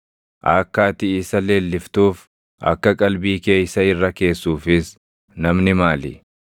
“Akka ati isa leelliftuuf, akka qalbii kee isa irra keessuufis namni maali?